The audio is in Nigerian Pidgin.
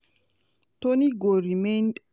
toney go remained